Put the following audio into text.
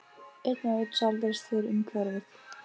Einn og einn sáldrast þeir um hverfið.